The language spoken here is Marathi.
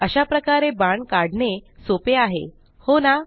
अशाप्रकारे बाण काढणे सोपे आहे हो ना